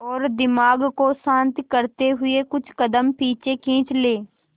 और दिमाग को शांत करते हुए कुछ कदम पीछे खींच लें